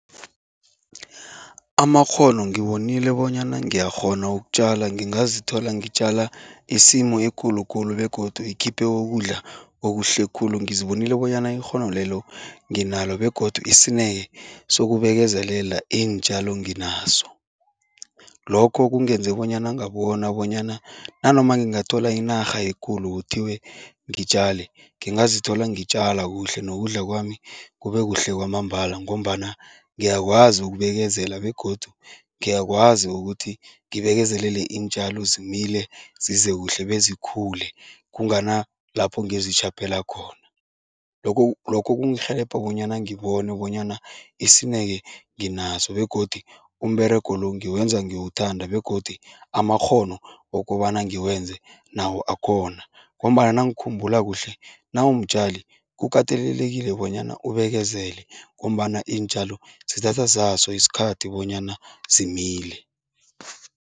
Amakghono ngibonile bonyana ngiyakghona ukutjala, ngingazithola ngitjala isimu ekulukulu begodu ikhiphe wokudla okuhle khulu. Ngizibonile bonyana ikghono lelo nginalo begodu isineke sokubekezela iintjalo nginaso. Lokho kungenze bonyana ngabona bonyana nanoma ngingathola inarha ekulu kuthiwe ngitjale, ngingazithola ngitjala kuhle nokudla kwami kube kuhle kwamambala ngombana ngiyakwazi ukubekezela begodu ngiyakwazi ukuthi ngibekezelele iintjalo zimile, zize kuhle bezikhule kungana lapho ngizitjhaphela khona. Lokho lokho kungirhelebha bonyana ngibone bonyana isineke nginaso begodu umberego lo ngiwenza ngiwuthanda begodu amakghono wokobana ngiwenze nawo akhona ngombana nangikhumbula kuhle, nawumtjali kukatelelekile bonyana ubekezele ngombana iintjalo zithatha zaso isikhathi bonyana zimile.